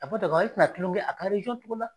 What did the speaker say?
A fɔ dɔgɔye te na kulɔŋɛ a ka dɔ la?